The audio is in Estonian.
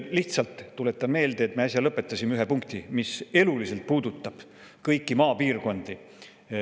" Lihtsalt tuletan meelde, et me äsja lõpetasime ühe, mis eluliselt puudutab kõiki maapiirkondi.